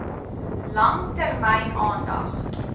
lang termyn aandag